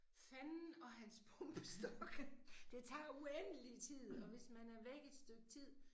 Fanden og hans pumpestok. Det tager uendelig tid og hvis man er væk et stykke tid